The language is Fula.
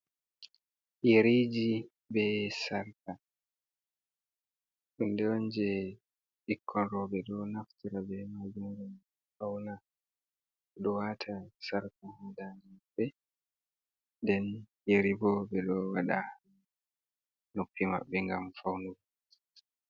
Yeriji be sarka, hunde on je pikkon rooɓe ɗo naftira be majum ngam fauna, ɗo wata sarka ha dade maɓɓe, den yeri bo ɓe ɗo waɗa noppi maɓɓe gam faunugo.